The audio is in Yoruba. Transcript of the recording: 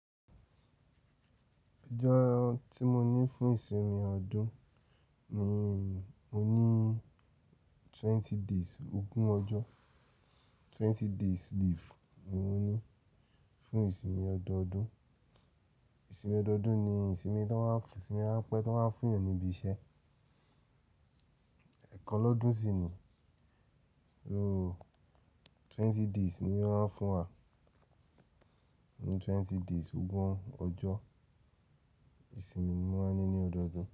Ǹjẹ́ ohun tí mo ní fún ìsinmi ọdún ni mo ní twenty days ogún ọjọ́, twenty days leave ni mo ní fún ìsinmi ọdọọdún. Ìsinmi ọdọọdún ni ìsinmi tí wọ́n máa ń pẹ̀, tí wọ́n máa ń fún ènìyàn níbi iṣẹ́. Ẹ̀kan lọ́dún sì ni, ooo twenty days ni wọ́n máa ń fún wa, twenty days ogún ọjọ́ ìsinmi ni wọ́n máa ń ní ní ọdọọdún.